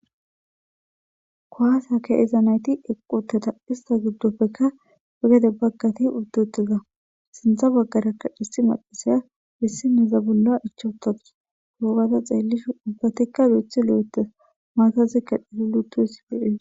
kwaasa ke'iza nayti equteta ista giddoppekka wegede baggati uddutiza sintha baggarakka dhissi macasaya bissineza bolla ichuutatus gurobada xeellisho ubbatikka duuthi lo7ete maatazikka dhitulutusilees